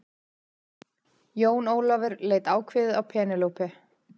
Jón Ólafur leit ákveðið á Penélope.